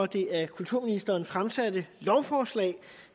det af kulturministeren fremsatte lovforslag